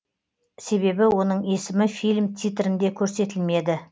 себебі оның есімі фильм титрінде көрсетілмеді